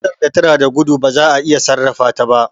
Motar da tana gudo ba za'a iya sarrafa ta ba